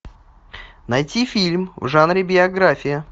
найти фильм в жанре биография